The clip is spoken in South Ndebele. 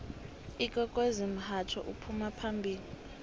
ikwekwezi mhatjho ophuma phambili